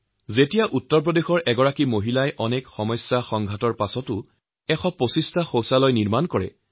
যেতিয়া উত্তৰ প্ৰদেশৰ এগৰাকী মহিলাই নিজা অদম্য প্ৰচেষ্টাৰে ১২৫টা শৌচালয় নিৰ্মাণ কৰে তেতিয়া ওচৰপাজৰৰ অন্যান্য মহিলাইও অতিকে উৎসাহিত হয়